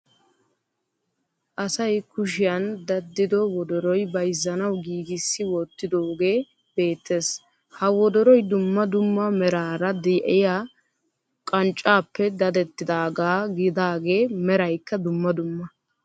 Asay kushiyan daddido wodoroy bayzzanawu giigissi wottidoogee beettees. Ha wodoroy dumma dumma meraara de'iya qanccaappe dadettagaa gidaagee meraykka dumma dumma.